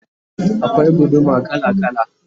akwai guduma kala kala